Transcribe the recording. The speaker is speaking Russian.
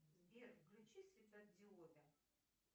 сбер включи светодиоды